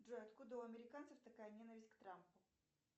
джой откуда у американцев такая ненависть к трампу